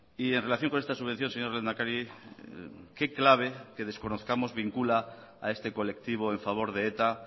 y en relación con esta subvención señor lehendakari qué clave que desconozcamos vincula a este colectivo en favor de eta